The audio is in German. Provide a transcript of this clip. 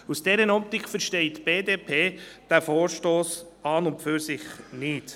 Aus dieser Optik versteht die BDP diesen Vorstoss nicht.